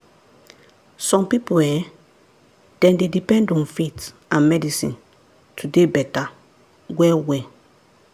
some people[um]dem dey depend on faith and medicine to dey better well-well.